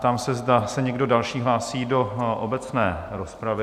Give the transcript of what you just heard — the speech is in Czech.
Ptám se, zda se někdo další hlásí do obecné rozpravy?